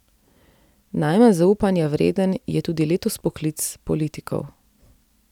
Najmanj zaupanja vreden je tudi letos poklic politikov.